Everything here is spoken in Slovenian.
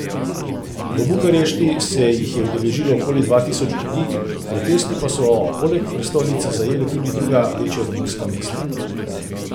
V Bukarešti se jih je udeležilo okoli dva tisoč ljudi, protesti pa so poleg prestolnice zajeli tudi druga večja romunska mesta.